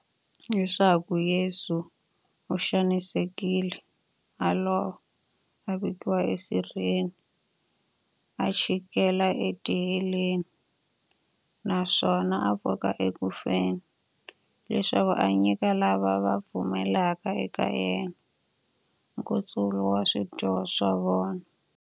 Leswaku Yesu u xanisekile, a lova, a vekiwa e sirheni, a chikela e tiheleni, naswona a pfuka eku feni, leswaku a nyika lava va pfumelaka eka yena, nkutsulo wa swidyoho swa vona.